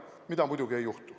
Mida muidugi ei juhtu.